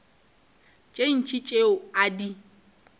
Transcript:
tše ntši tšeo a di